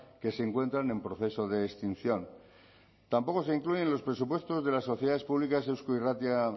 que se encuentran en proceso de extinción tampoco se incluyen los presupuestos de las sociedades públicas eusko irratia